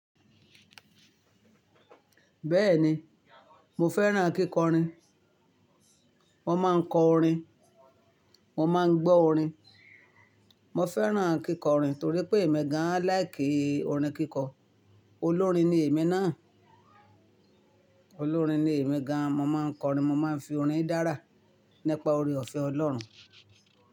Bẹ́ẹ̀ni, mo fẹ́ràn kíkọrin. Mo máa ń kọ orin, mo máa ń gbọ́ orin. Mo fẹ́ràn kíkọrin torí pé èmi gan an láì kí orin kíkọ. Olórin ni èmi ná. Olórin ni èmi gan an. Mo máa ń kọrin, mo máa ń fi orin dára nípa oore-ọ̀fẹ́ Ọlọ́run.